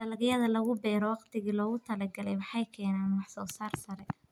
Dalagyada lagu beero waqtigii loogu talagalay waxay keenaan wax soo saar sare.